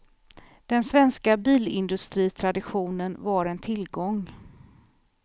Den svenska bilindustritraditionen var en tillgång.